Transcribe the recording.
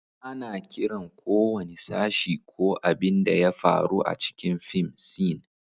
Ana kiran ko wani sashi ko abin da ya faru a cikin fim "scene."